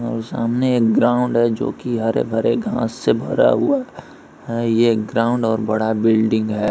और सामने एक ग्राउंड है जो की हरे-भरे घास से भरा हुआ है यह ग्राउंड और बड़ा बिल्डिंग है।